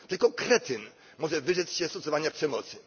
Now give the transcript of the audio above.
Tylko kretyn może wyrzec się stosowania przemocy.